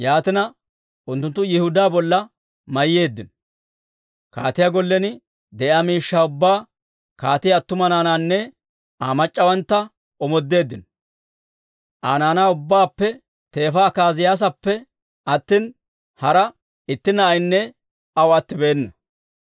Yaatina, unttunttu Yihudaa bolla mayyeeddino; kaatiyaa gollen de'iyaa miishshaa ubbaa, kaatiyaa attuma naanaanne Aa mac'c'awantta omoodeeddino. Aa naanaa ubbaappe teefa Akaaziyaasappe attina, hara itti na'aynne aw attibeena.